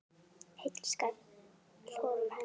Heill skal honum senda.